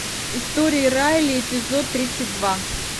истории райли эпизод тридцать два